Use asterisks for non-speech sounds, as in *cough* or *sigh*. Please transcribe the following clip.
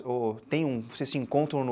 Ou tem, vocês se encontram no *unintelligible*